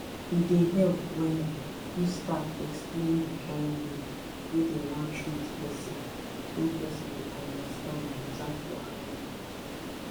e dey help wella if staff explain d kin way wey dem wan treat person wey person go understand without wahala